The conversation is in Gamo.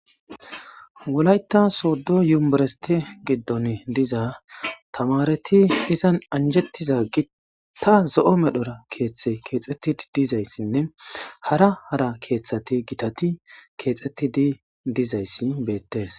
Wolayta sodo yunvereste gidon diza tamareti izan anjetiza gitan zo'o medhora kethay kexetidi dizaysine hara hara kethati gitati kexetidi dizays betes.